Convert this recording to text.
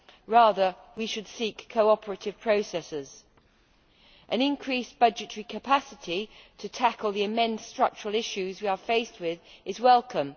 Rather we should seek cooperative processes. An increased budgetary capacity to tackle the immense structural issues we are faced with is welcome.